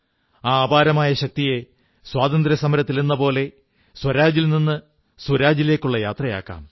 ആ അപാരമായ ശക്തിയെ സ്വാതന്ത്ര്യസമരത്തിലെന്നപോലെ സ്വരാജിൽ നിന്ന് സുരാജിലേക്കുള്ള യാത്രയാക്കാം